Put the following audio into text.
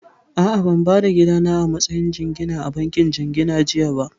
A'a, ban ba da gidana a matsayin jingina a bankin jingina jiya ba